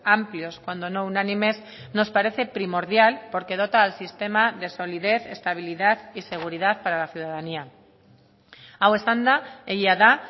amplios cuando no unánimes nos parece primordial porque dota al sistema de solidez estabilidad y seguridad para la ciudadanía hau esanda egia da